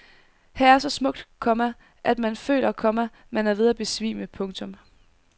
Her er så smukt, komma at man føler, komma man er ved at besvime. punktum